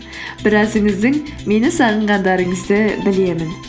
біразыңыздың мені сағынғандарыңызды білемін